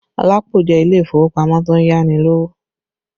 Lapo jẹ́ ilé ìfowópamọ́ tó ń yá ni lówó